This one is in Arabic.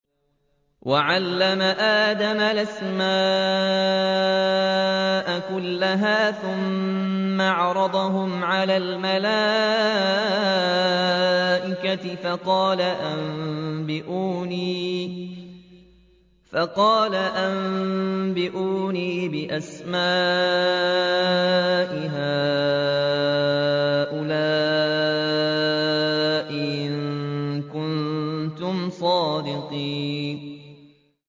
وَعَلَّمَ آدَمَ الْأَسْمَاءَ كُلَّهَا ثُمَّ عَرَضَهُمْ عَلَى الْمَلَائِكَةِ فَقَالَ أَنبِئُونِي بِأَسْمَاءِ هَٰؤُلَاءِ إِن كُنتُمْ صَادِقِينَ